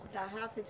Tarrafa de